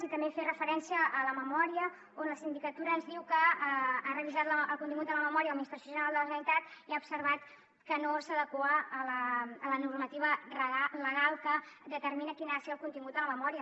i també fer referència a la memòria on la sindicatura ens diu que ha revisat el contingut de la memòria de l’administració general de la generalitat i ha observat que no s’adequa a la normativa legal que determina quin ha de ser el contingut de la memòria